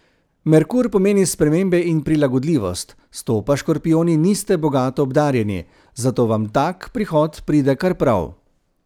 Merkur pomeni spremembe in prilagodljivost, s to pa škorpijoni niste bogato obdarjeni, zato vam tak prihod pride kar prav.